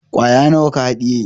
Kwaya nawa ka haɗiye?